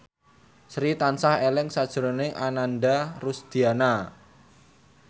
Sri tansah eling sakjroning Ananda Rusdiana